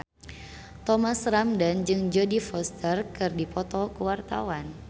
Thomas Ramdhan jeung Jodie Foster keur dipoto ku wartawan